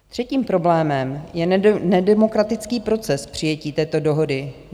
Třetím problémem je nedemokratický proces přijetí této dohody.